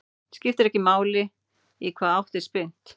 Skiptir ekki máli í hvaða átt er spyrnt.